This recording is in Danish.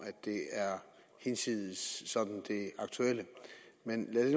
det er hinsides det aktuelle men lad det